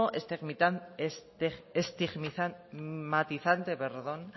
estigmatizante